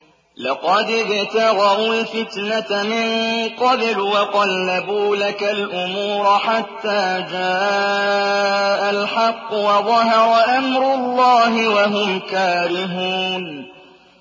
لَقَدِ ابْتَغَوُا الْفِتْنَةَ مِن قَبْلُ وَقَلَّبُوا لَكَ الْأُمُورَ حَتَّىٰ جَاءَ الْحَقُّ وَظَهَرَ أَمْرُ اللَّهِ وَهُمْ كَارِهُونَ